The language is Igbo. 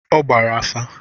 Ọ gbara afa